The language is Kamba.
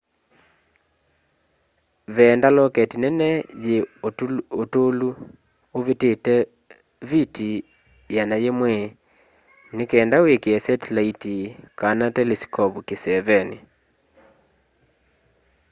veenda loketi nene yi utulu uvitite viti 100 nikenda wikie setilaiti kana teliskovu kiseeveni